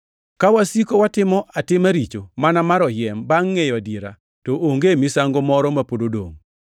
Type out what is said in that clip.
Ka wasiko watimo atima richo mana mar oyiem bangʼ ngʼeyo adiera, to onge misango moro ma pod odongʼ,